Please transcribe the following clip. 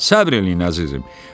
Səbr eləyin, əzizim.